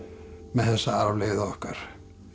með þessa arfleifð okkar